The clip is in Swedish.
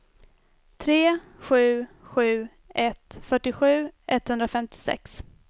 tre sju sju ett fyrtiosju etthundrafemtiosex